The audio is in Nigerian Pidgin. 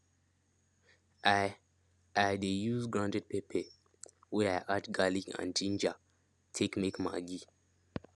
i i dey use grounded pepper wey i add garlic and ginger take make maggi